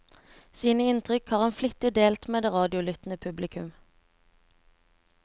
Sine inntrykk har han flittig delt med det radiolyttende publikum.